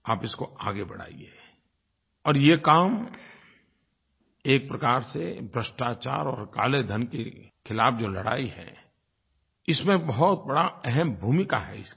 आप इसको आगे बढ़ाइए और ये काम एक प्रकार से भ्रष्टाचार और काले धन के खिलाफ़ जो लड़ाई है इसमें बहुत बड़ी अहम भूमिका है इसकी